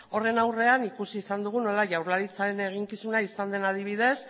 horren aurrean ikusi izan dugu nola jaurlaritzaren eginkizuna izan den adibidez